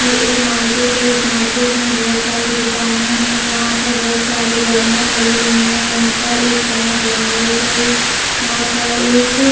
ये एक मार्केट है इस मार्केट में बहोत सारी दुकाने है यहाँ पर बहुत सारी गाड़िया खड़ी हुई है यहाँ पर एक कनक बेंगल्स है यहाँ पर एक--